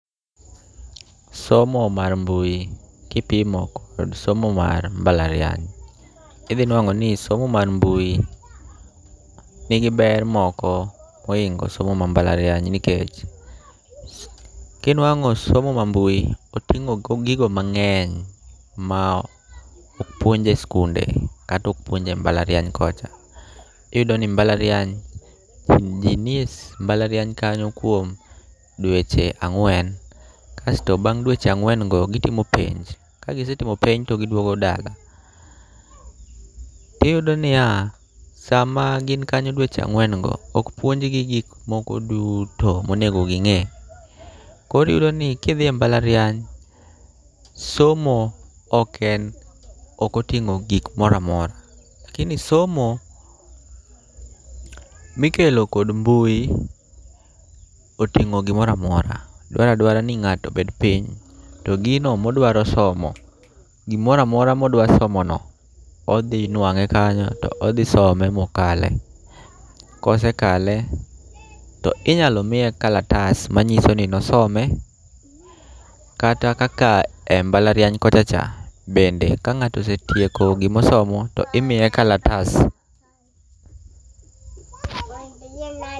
Somo mar mbui kipimo kod somo mar mbalariany, idhi nuang'o ni somo mar mbui nigi ber moko mohingo somo mar mbalariany. Nikech, kinuang'o somo ma mbui oting'o gigo mang'eny ma ok puonje e skunde kata ok puonje mbalariany kocha. Iyudo mbalariany, ji ni e mbalariany kanyo kuon dweche ang'wen kasto bang' gweche go gitimo penj. Kagisetimo penj to giduogo dala. Tiyudo niya, sama gin kanyo dweche ang'wen go ok puonj gi gik moko duto monego ging'e. Koro iyudo ni kidhi e mbalariany, somo ok oting'o gik moro amora. Lakini somo mikelo kod mbui oting'o gimoro amora. Dwaro adwara ni ng'ato mondo obed piny, to gino modwa somo, gimoro amora modwa somo no, odhi nwang'e kanyo, to odhi some mokale. Kose kale, to inyalo miye kalatas manyiso ni nosome kata kaka e mbalariany kocha cha bende ka ng'ato osetieko gimosomo to imiye kalatas.